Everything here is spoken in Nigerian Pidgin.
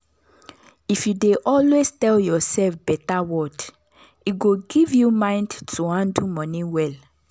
if you dey always tell yourself better word e go give you mind to handle money well.